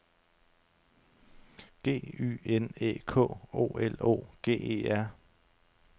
G Y N Æ K O L O G E R